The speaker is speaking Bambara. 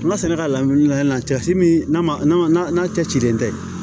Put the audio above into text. N ka sɛnɛ ka laɲini kɛ yan nɔ cɛ si min na n'a cɛ cilen tɛ